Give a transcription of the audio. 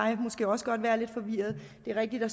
jeg måske også godt være lidt forvirret det er rigtigt at